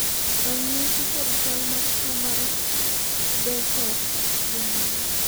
ranyisi kod chal mar tuo mar Behcet gin mage?